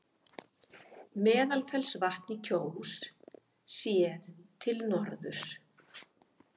Meðalfellsvatn í Kjós, séð til norðurs.